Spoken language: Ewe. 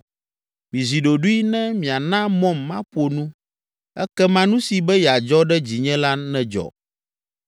“Mizi ɖoɖoe ne miana mɔm maƒo nu, ekema nu si be yeadzɔ ɖe dzinye la nedzɔ.